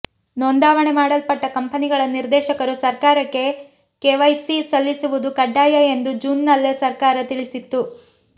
ನೋಂದಾವಣೆ ಮಾಡಲ್ಪಟ್ಟ ಕಂಪನಿಗಳ ನಿರ್ದೇಶಕರು ಸರ್ಕಾರಕ್ಕೆ ಕೆವೈಸಿ ಸಲ್ಲಿಸುವುದು ಕಡ್ಡಾಯ ಎಂದು ಜೂನ್ ನಲ್ಲೇ ಸರ್ಕಾರ ತಿಳಿಸಿತ್ತು